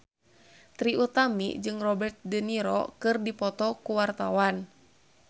Trie Utami jeung Robert de Niro keur dipoto ku wartawan